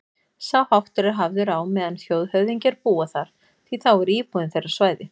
Sá háttur er hafður á meðan þjóðhöfðingjar búa þar, því þá er íbúðin þeirra svæði